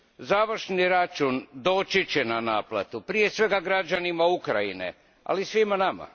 Završni račun doći će na naplatu, prije svega građanima Ukrajine, ali i svima nama.